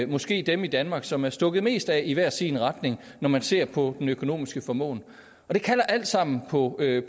måske dem i danmark som er stukket mest af i hver sin retning når man ser på den økonomiske formåen det kalder alt sammen på